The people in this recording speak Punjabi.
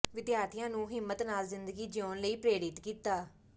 ਵਿਦਿਆਰਥੀਆਂ ਨੂੰ ਹਿੰਮਤ ਨਾਲ ਜ਼ਿੰਦਗੀ ਜਿਊਣ ਲਈ ਪ੍ਰੇਰਿਤ ਕੀਤਾ